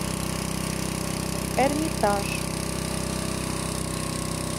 эрмитаж